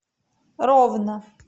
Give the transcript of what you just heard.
ровно